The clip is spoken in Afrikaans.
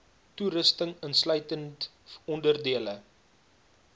toerusting insluitend onderdele